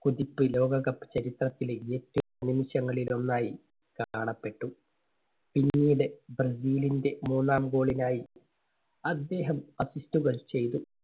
കുതിപ്പ് ലോകകപ്പ് ചരിത്രത്തിലെ ഏറ്റവും നിമിഷങ്ങളിൽ ഒന്നായി കാണപ്പെട്ടു. പിന്നീട് ബ്രസീലിന്റെ മൂന്നാം goal നായി അദ്ദേഹം assist കൾ ചെയ്തു.